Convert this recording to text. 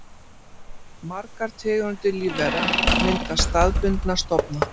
Margar tegundir lífvera mynda staðbundna stofna.